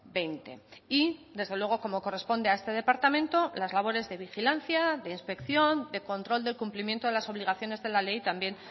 veinte y desde luego como corresponde a este departamento las labores de vigilancia de inspección de control del cumplimiento de las obligaciones de la ley también